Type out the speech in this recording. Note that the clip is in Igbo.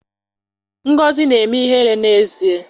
Ngozi na-eme ihere n'èzí